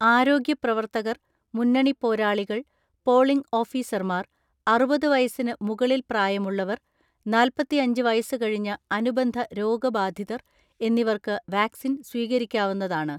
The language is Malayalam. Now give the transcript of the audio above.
ആരോഗ്യപ്രവർത്തകർ, മുന്നണി പോരാളികൾ, പോളിംഗ് ഓഫീസർമാർ, അറുപത് വയസ്സിനു മുകളിൽ പ്രായമുള്ളവർ, നാല്‍പത്തിഅഞ്ച് വയസുകഴിഞ്ഞ അനുബന്ധ രോഗബാധിതർ എന്നിവർക്ക് വാക്സിൻ സ്വീകരിക്കാവുന്നതാണ്.